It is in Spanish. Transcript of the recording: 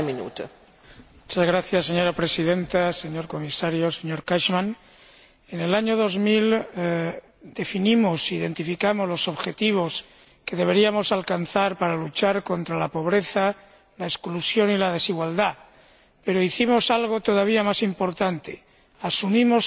Señora Presidenta, señor Comisario, señor Cashman, en el año 2000 definimos e identificamos los objetivos que deberíamos alcanzar para luchar contra la pobreza, la exclusión y la desigualdad, pero hicimos algo todavía más importante asumimos compromisos concretos